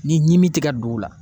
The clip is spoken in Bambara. Ni ɲimi ti ka don u la.